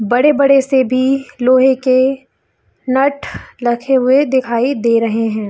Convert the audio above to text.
बड़े-बड़े से भी लोहे के नठ रखे हुए दिखाई दे रहे है।